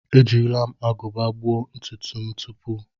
Ejila agụba gbuo ntutu m tupu.